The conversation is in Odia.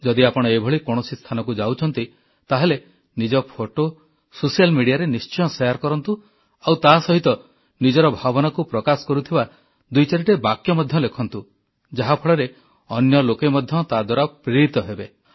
ଯଦି ଆପଣ ଏଭଳି କୌଣସି ସ୍ଥାନକୁ ଯାଉଛନ୍ତି ତାହେଲେ ନିଜ ଫଟୋ ସୋସିଆଲ୍ ମିଡିଆରେ ନିଶ୍ଚୟ ଶେୟାର କରନ୍ତୁ ଆଉ ତା ସହିତ ନିଜର ଭାବନାକୁ ପ୍ରକାଶ କରୁଥିବା ଦୁଇଚାରିଟି ବାକ୍ୟ ମଧ୍ୟ ଲେଖନ୍ତୁ ଯାହାଫଳରେ ଅନ୍ୟ ଲୋକେ ମଧ୍ୟ ତାଦ୍ୱାରା ପ୍ରେରିତ ହେବେ